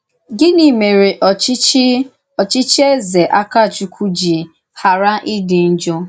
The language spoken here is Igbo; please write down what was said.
Gịnị mèré òchí̄chí̄ òchí̄chí̄ Ézè Àkàchùkwù jì ghàrà ídí njọ?